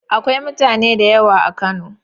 Akwai mutane da yawa a Kano.